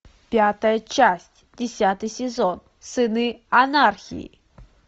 пятая часть десятый сезон сыны анархии